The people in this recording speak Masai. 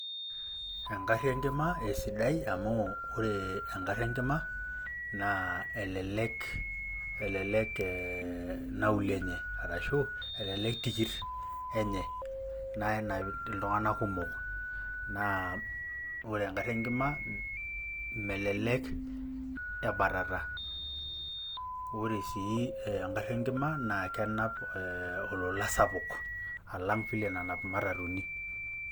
Enkari enkima esidai amu ore engari enkima naa elelek e nauli enye arashu elelek tikit enye na kenap ltunganak kumok na ore engari enkima melek